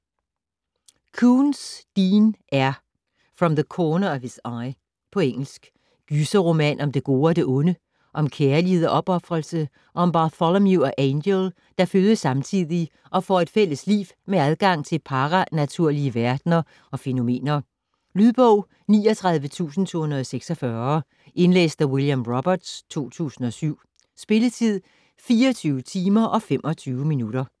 Koontz, Dean R.: From the corner of his eye På engelsk. Gyserroman om det gode og det onde, om kærlighed og opofrelse - og om Bartholomew og Angel, der fødes samtidig og får et fælles liv med adgang til paranaturlige verdener og fænomener. Lydbog 39246 Indlæst af William Roberts, 2007. Spilletid: 24 timer, 25 minutter.